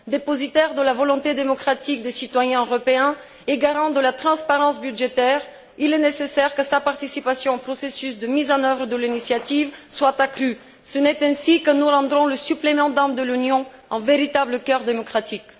Dépositaire qu'il est de la volonté démocratique des citoyens européens et garant de la transparence budgétaire, il est nécessaire que sa participation au processus de mise en œuvre de l'initiative soit accrue. Ce n'est qu'ainsi que nous ferons du supplément d'âme de l'Union un véritable cœur démocratique.